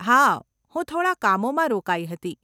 હા, હું થોડાં કામોમાં રોકાઈ હતી.